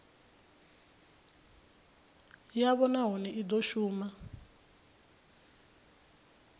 yavho nahone i do shuma